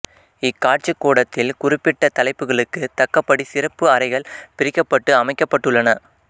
இக்காட்சிக்கூடத்தில் குறிப்பிட்ட தலைப்புகளுக்குத் தக்கபடி சிறப்பு அறைகள் பிரிக்கப்பட்டு அமைக்கப்பட்டுள்ளன